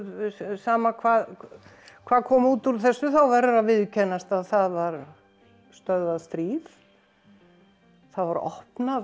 sama hvað hvað kom út úr þessu þá verður að viðurkennast að það var stöðvað stríð það voru opnaðir